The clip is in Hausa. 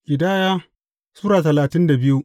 Ƙidaya Sura talatin da biyu